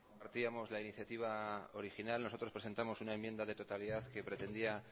partíamos de la iniciativa original nosotros presentamos una enmienda de totalidad que pretendía